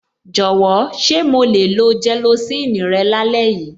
Jọ̀wọ́, ṣé mo le lo gelocin rẹ lálẹ́ yìí?